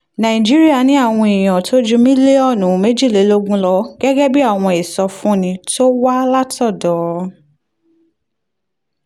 nàìjíríà ní àwọn èèyàn tó ju mílíọ̀nù méjìlélógún lọ gẹ́gẹ́ bí àwọn ìsọfúnni tó wá látọ̀dọ̀